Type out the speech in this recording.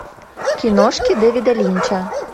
киношки дэвида линча